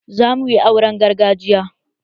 Za muyi auren gargajiya